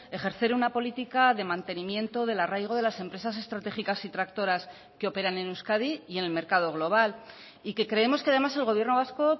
ejercer una política de mantenimiento del arraigo de las empresas estratégicas y tractoras que operan en euskadi y en el mercado global y que creemos que además el gobierno vasco